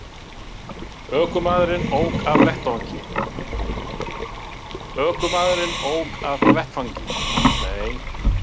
Ökumaðurinn ók af vettvangi